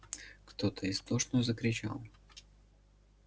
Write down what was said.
кто-то истошно закричал